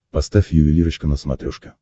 поставь ювелирочка на смотрешке